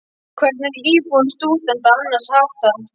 Hvernig er íbúðum stúdenta annars háttað?